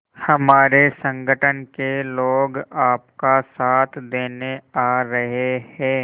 हमारे संगठन के लोग आपका साथ देने आ रहे हैं